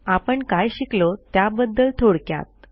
आपण काय शिकलो त्याबद्दल थोडक्यात